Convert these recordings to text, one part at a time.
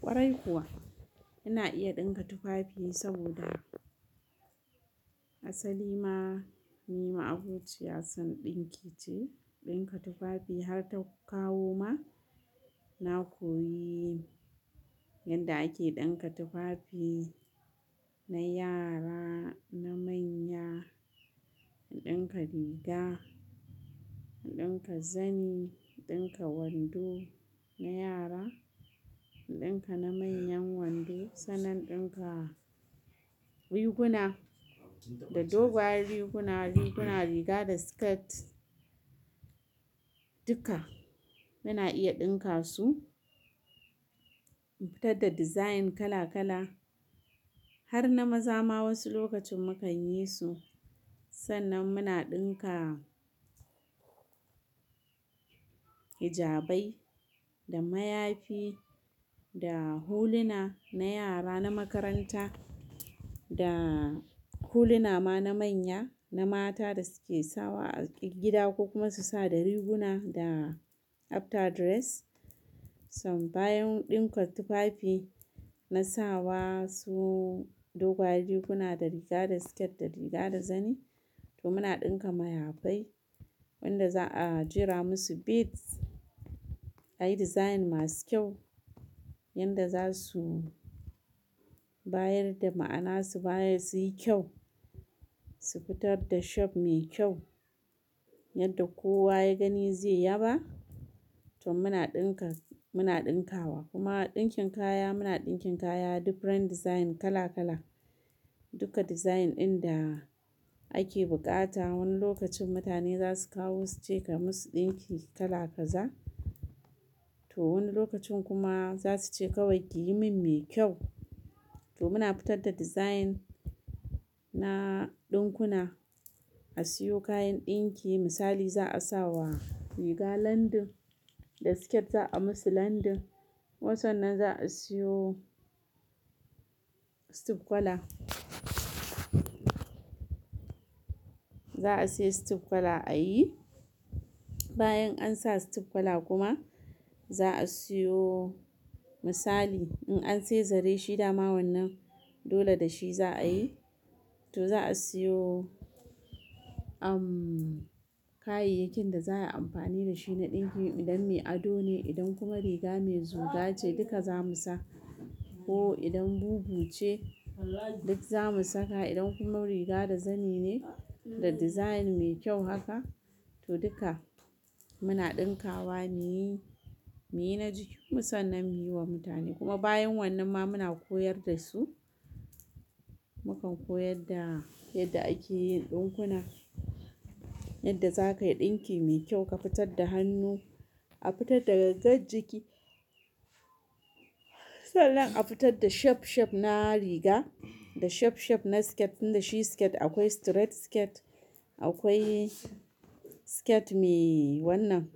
Kwarai kuwa, ina iya ɗinka tufafi saboda asali ma, ni ma abociyar san ɗinki ce. Ɗinka tufafi har ta kawo ma, na koyi yanda ake ɗinka tufafi na yara, na manya, in ɗinka riga, in ɗinka zani, in ɗinka wando na yara, in ɗinka na manyan wando. Sannan in ɗinka riguna da doguwar riguna, riguna riga da skirt duka muna iya ɗinka su, mu fitar da design kala kala har na maza ma wasu lokacin mu kan yi su. Sannan muna ɗinka hijabai da mayafi da huluna na yara na makaranta da huluna ma na manya, na mata da suke sawa a cikin gida ko kuma su sa da riguna da after dress. Tom bayan ɗinka tufafi na sawa su doguwar riguna da riga da skirt da riga da zani to muna ɗinka mayafai wanda za a jera musu beads, ayi design masu kyau yanda za su bayar da ma'ana, su bayar su yi kyau, su fitar da shape mai kyau yadda kowa ya gani zai yaba. To muna ɗinka, muna ɗinkawa kuma ɗinkin kaya muna ɗinkin kaya different design kala kala. Duka design ɗin da ake buƙata wani lokacin mutane za su kawo su ce ka musu ɗinki kala kaza. To wani lokacin kuma za su ce kawai ki yi min mai kyau. To muna fitar da design na ɗinkuna, a siyo kayan ɗinki misali za a sa wa riga lending da skirt za a musu lending. Kuma sannan za a siyo stiff kwala, za a siya stiff kwala a yi. Bayan an sa stiff kwala kuma za a siyo misali in an siya zare shi da ma wannan dole da shi za a yi. To za a siyo, kayayyakin da za a yi amfani da shi na ɗinki idan mai ado ne, idan kuma riga mai zuga ce duka za mu sa. Ko idan bubu ce duk za mu saka. Idan kuma riga da zani ne da design mai kyau haka to duka muna ɗinkawa, mu yi, mu yi na jikinmu sannan mu yi wa mutane. Kuma bayan wannan ma muna koyar da su. Mukan koyar da yadda ake yin ɗinkuna, yadda za ka yi ɗinki mai kyau, ka fitar da hannu, a fitar da gangar jiki. Sannan a fitar da shape shape na riga da shape shape na skirt. Tun da shi skirt akwai straight skirt, akwai skirt mai wannan,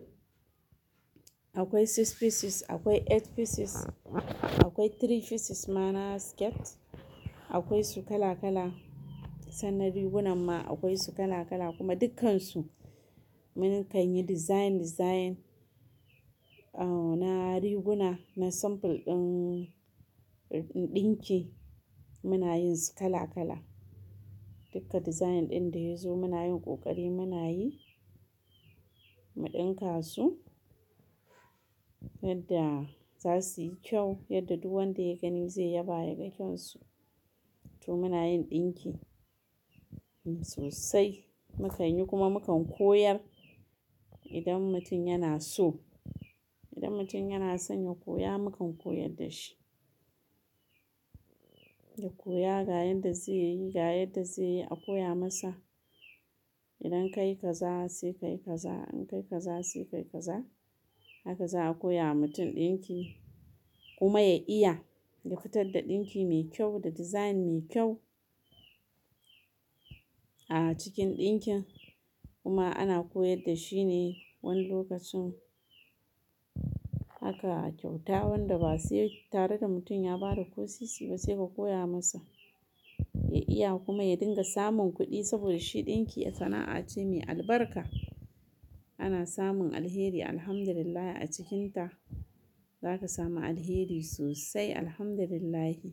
akwai six pieces, akwai eight pieces, akwai three pieces ma na skirt. Akwai su kala kala sannan rigunan ma akwai su kala kala kuma dukkansu mun kan yi design design, na riguna, na sample ɗin, ɗin ɗinki muna yin su kala kala. Duka design ɗin da ya zo muna yin ƙoƙari mu na yi, mu ɗinka su yadda za su yi kyau yadda duk wanda ya gani zai yaba ya ga kyan su. To muna yin ɗinki sosai mu kan yi kuma mu kan koyar idan mutum yana so. Idan mutum yana son ya koya mukan koyar da shi. Ya koya ga yanda zai yi, ga yadda zai yi a koya masa. Idan ka yi kaza sai ka yi kaza, in ka yi kaza sai ka yi kaza haka za a koya wa mutum ɗinki. Kuma ya iya ya fitar da ɗinki mai kyau da design mai kyau a cikin ɗinkin kuma ana koyar da shi ne wani lokacin haka kyauta wanda ba sai tare da mutum ya ba da ko sisi ba sai mu koya masa. Ya iya kuma ya dinga samun kuɗi saboda shi ɗinki sana'a ce mai albarka. Ana samun alheri Alhamdulillah a cikinta. Za ka sami alheri sosai Alhamdulillahi.